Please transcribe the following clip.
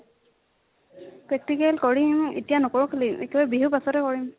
practical কৰিম, এতিয়া নকৰো বিহুৰ পাছতহে কৰিম।